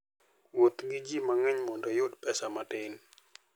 Wuoth gi ji mang'eny mondo iyud pesa matin.